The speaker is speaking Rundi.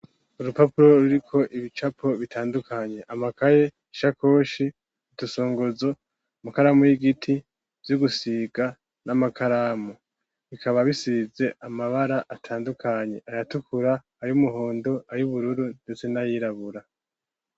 Urupapuro, ruriko ibicapo bitandukanye: amakaye, ishakoshi, udusongozo, amakaramu y'igiti, vy'ugusiga, n'amakaramu; bikaba bisize amabara atandukanye; ayatukura, ay'umuhondo, ay'ubururu, ndetse n'ayirabura.